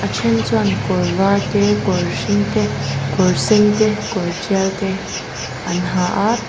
then chuan kawr var te kawr hring te kawr sen te kawr tial te an ha a--